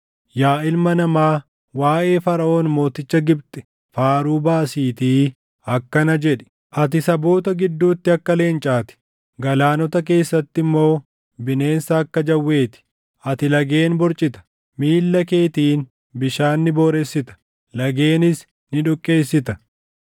“Yaa ilma namaa, waaʼee Faraʼoon mooticha Gibxi faaruu baasiitii akkana jedhi: “ ‘Ati saboota gidduutti akka leencaa ti; galaanota keessatti immoo bineensa akka jawwee ti; ati lageen borcita; miilla keetiin bishaan ni booressita; lageenis ni dhoqqeessita.